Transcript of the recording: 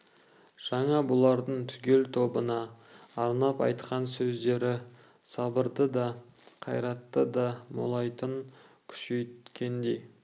жаңа бұлардың түгел тобына арнап айтқан сөздері сабырды да қайратты да молайтып күшейткендей